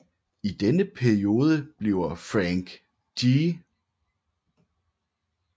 I denne periode bliver Frank G